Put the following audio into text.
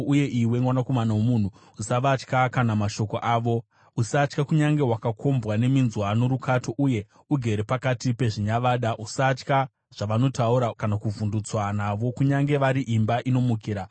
Uye iwe, mwanakomana womunhu, usavatya kana mashoko avo. Usatya, kunyange wakakombwa neminzwa norukato uye ugere pakati pezvinyavada. Usatya zvavanotaura kana kuvhundutswa navo, kunyange vari imba inomukira.